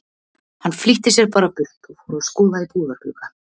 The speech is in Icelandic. Hann flýtti sér bara burt og fór að skoða í búðarglugga.